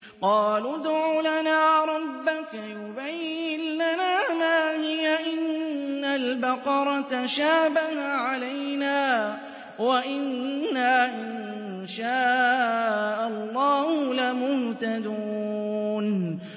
قَالُوا ادْعُ لَنَا رَبَّكَ يُبَيِّن لَّنَا مَا هِيَ إِنَّ الْبَقَرَ تَشَابَهَ عَلَيْنَا وَإِنَّا إِن شَاءَ اللَّهُ لَمُهْتَدُونَ